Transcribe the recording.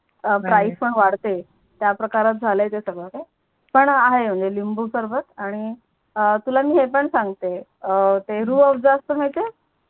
Price पण वाडते त्या प्रकारात झाल आहे ते सगड काही पण आहे म्हणजे लिंबू सरबत आणि तुला मी हे पण सांगते ते रूहअफज जास्त मिडते